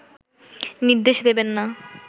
নির্দেশ দেবেন না